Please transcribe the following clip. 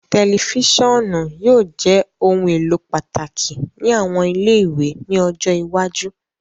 Tẹlifisiọnu yóò jẹ ohun elo pataki ni awọn ile-iwe ni ọjọ iwaju